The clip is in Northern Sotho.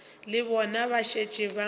le bona ba šetše ba